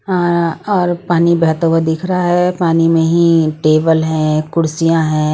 हाँ और पानी बहता हुआ दिख रहा हैं पानी में ही टेबल हैं कुर्सियाँ हैं।